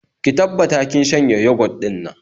Ki tabbata kin shanye yogot din nan